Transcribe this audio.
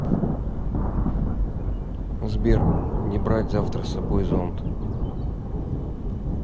сбер не брать завтра собой зонт